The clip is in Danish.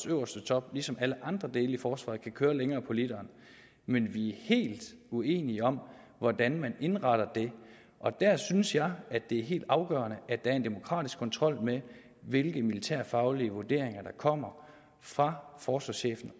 øverste top ligesom alle andre dele af forsvaret kan køre længere på literen men vi er helt uenige om hvordan man indretter det der synes jeg at det er helt afgørende at der er en demokratisk kontrol med hvilke militærfaglige vurderinger der kommer fra forsvarschefen